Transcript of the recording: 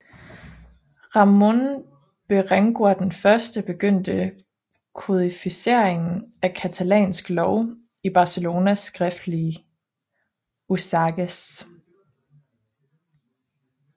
Ramon Berenguer I begyndte kodificeringen af catalansk lov i Barcelonas skriftlige Usages